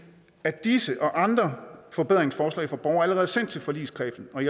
at disse og andre forbedringsforslag fra borgerne allerede er sendt til forligskredsen og